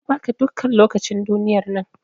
Na ba ka dukkan lokacin duniyar nan.